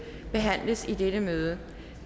behandles i dette møde